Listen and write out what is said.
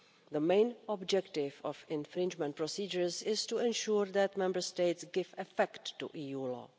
The main objective of infringement procedures is to ensure that Member States give effect to EU law.